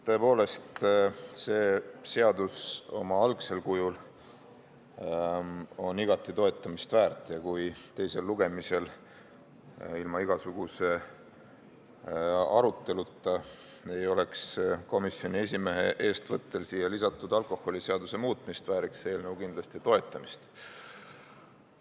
Tõepoolest, see seadus oma algsel kujul on igati toetamist väärt ja kui teisel lugemisel ilma igasuguse aruteluta ei oleks komisjoni eestvõttel siia lisatud alkoholiseaduse muutmist, vääriks see eelnõu kindlasti toetamist.